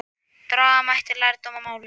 Draga mætti lærdóm af málinu.